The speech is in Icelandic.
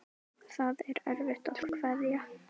Það er erfitt að kveðja.